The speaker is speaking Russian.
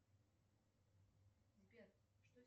сбер что